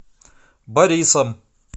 борисом